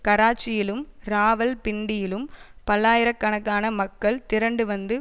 கராச்சியிலும் ராவல்பிண்டியிலும் பல்லாயிர கணக்கான மக்கள் திரண்டு வந்து